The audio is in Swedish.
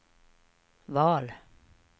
val